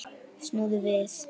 Snúðu við.